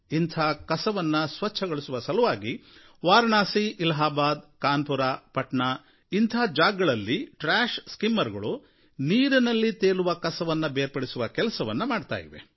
ಇಂಥ ಕಸವನ್ನು ಸ್ವಚ್ಛಗೊಳಿಸುವ ಸಲುವಾಗಿ ವಾರಣಾಸಿ ಅಲಹಾಬಾದ್ ಕಾನ್ಪುರ್ ಪಟನಾ ಇಂಥ ಜಾಗಗಳಲ್ಲಿ ಟ್ರ್ಯಾಷ್ ಸ್ಕಿಮ್ಮರುಗಳು ನೀರಿನಲ್ಲಿ ತೇಲುವ ಕಸವನ್ನು ಬೇರ್ಪಡಿಸುವ ಕೆಲಸವನ್ನು ಮಾಡುತ್ತಿವೆ